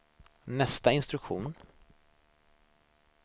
nästa instruktion